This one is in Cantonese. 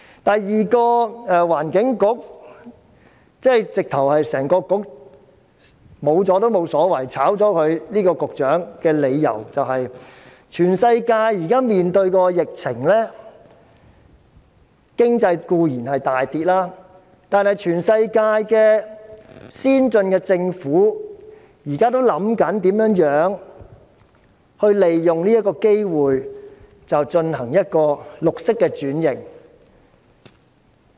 第二個取消環境局、辭退局長也無所謂的理由是，全世界現時面對疫情，經濟固然大跌，但全世界先進的政府現時也在思考如何利用此機會進行綠色轉型。